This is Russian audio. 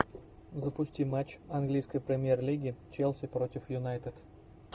запусти матч английской премьер лиги челси против юнайтед